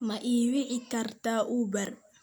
Ma ii wici kartaa Uber?